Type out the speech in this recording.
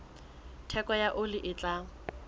theko ya oli e tala